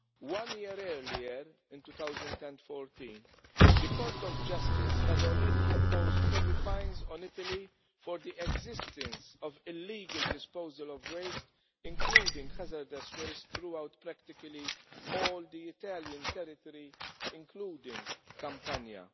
One year earlier, in 2014, the Court of Justice had already imposed heavy fines on Italy for the existence of illegal disposal of waste, including hazardous waste, throughout practically all the Italian territory, including Campania.